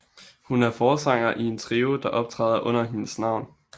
Hun er forsanger i en trio der optræder under hendes navn